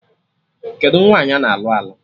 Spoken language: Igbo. Kedụ nwaanyị ana alụ alụ?